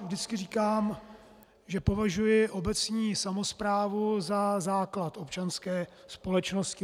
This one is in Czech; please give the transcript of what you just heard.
Vždycky říkám, že považuji obecní samosprávu za základ občanské společnosti.